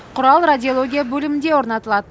құрал радиология бөлімінде орнатылады